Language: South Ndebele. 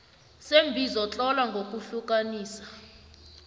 seembizo tlola ngokuhlukanisa